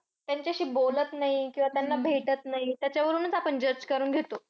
त्यांच्याशी बोलत नाही किंवा त्यांना भेटत नाही. त्यावरूनच आपण judge करून घेतो.